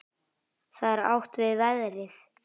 Þá er átt við veðrið.